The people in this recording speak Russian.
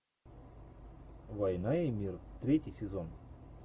война и мир третий сезон